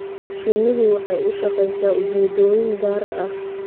Shinnidu waxay u shaqeysaa ujeedooyin gaar ah.